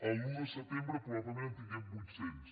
l’un de setembre probablement en tinguem vuit cents